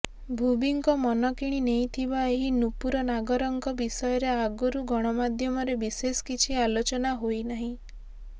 ଭୁବିଙ୍କ ମନ କିଣି ନେଇଥିବା ଏହି ନୁପୂର ନାଗରଙ୍କ ବିଷୟରେ ଆଗରୁ ଗଣମାଧ୍ୟମରେ ବିଶେଷ କିଛି ଆଲୋଚନା ହୋଇନାହିଁ